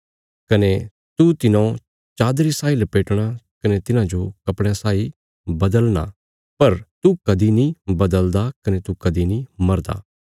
कने तू तिन्हौ चादरी साई लपेटणा कने तिन्हांजो कपड़यां साई बदलना पर तू कदीं नीं बदलदा कने तू कदीं नीं मरदा